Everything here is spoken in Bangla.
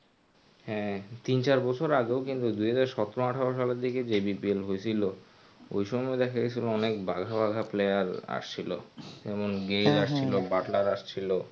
হ্যাঁ তিন চার বছর আগেও কিন্তু দুই হাজার সতেরো আঠারো সালের দিকেও যে BPL হয়েছিল ওই সময় দেখা গেছিলো অনেক বাঘা বাঘা player আসছিলো যেমন গেইল আসছিলো বাটলার আসছিলো.